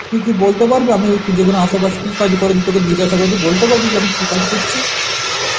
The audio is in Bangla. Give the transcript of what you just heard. তুই কি বলতে পারবি আমি এই তু যেখানে আশেপাশে কি কাজ করবি তোকে জিজ্ঞাসা করবে বলতে পারবি যে আমি কি কাজ করছি?